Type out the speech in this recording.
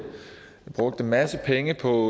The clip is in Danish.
brugt en masse penge på